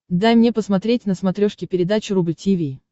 дай мне посмотреть на смотрешке передачу рубль ти ви